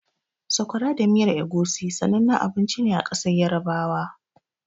Sakwara da miyar Egusi sanannen abinci ne a ƙasar Yarabawa.